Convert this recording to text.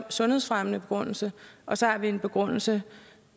sundhedsfremmende begrundelse og så har vi en begrundelse